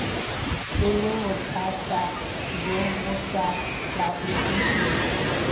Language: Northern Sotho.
e lebothatabjo bo sa laodišegego